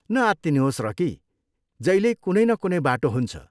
न आत्तिनुहोस्, रकी। जहिल्यै कुनै न कुनै बाटो हुन्छ।